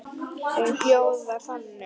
Hún hljóðar þannig